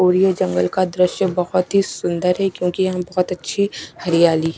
और ये जंगल का दृश्य बहोत ही सुंदर है क्योंकी हम बहुत अच्छी हरियाली--